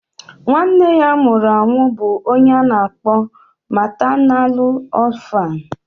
Nwa Nne ya nwụrụ anwụ bụ ọnye ana akpọ maternalu orphanu.